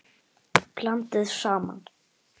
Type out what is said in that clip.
Blandið saman.